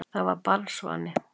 Það var barnsvani.